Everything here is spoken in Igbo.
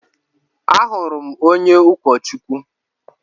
Ahụrụ m onye ụkọchukwu.